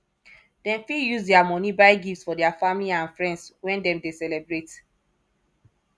dem fit use their money buy gifts for their family and friends when dem de celebrate